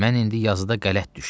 Mən indi yazıda qələt düşdüm.